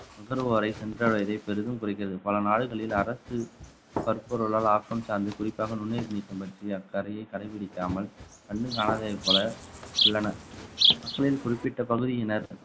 நுகர்வோரை சென்றடைவதே பெரிதும் குறைக்கிறது பல நாடுகளில் அரசு பற்பொருளால் ஆக்கம் சார்ந்து குறிப்பாக நுண்ணுயிர் நீக்கம் பற்றி கடைபிடிக்காமல் கண்டும் காணாததை போல உள்ளனர் மக்களின் குறிப்பிட்ட பகுதியினர்